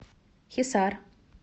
хисар